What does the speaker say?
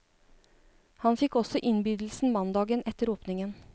Han fikk også innbydelsen mandagen etter åpningen.